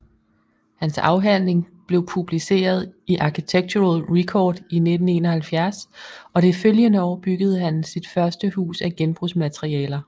Han afhandling blev publiceret i Architectural Record i 1971 og det følgende år byggede han sit første hus af genbrugsmaterialer